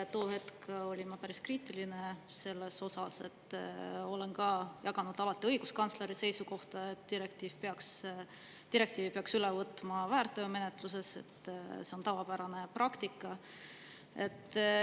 Too hetk olin ma päris kriitiline selles osas, olen ka jaganud alati õiguskantsleri seisukohta, et direktiivi peaks üle võtma väärteomenetluses, see on tavapärane praktika.